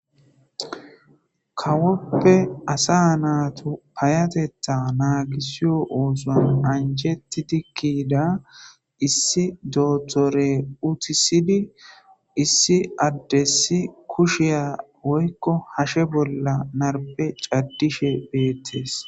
Kawoppe asa naatu payatetta naagisiyo oosan anjeti dikkida issi dootore utisidi issi addessi kusheya woykko hashe bolla narbe caddishe beettes